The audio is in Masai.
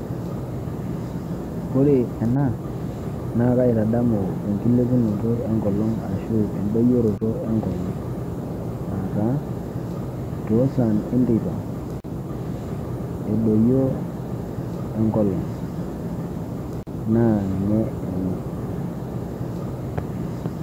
Ore ena na kaitadamu enkilepunoto enkolong ashu endoyioroto enkolong aata tosai enteipa edoyio enkolong na ninye ena.